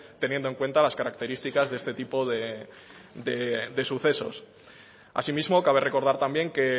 teniendo en cuenta las características de este tipo de sucesos asimismo cabe recordar también que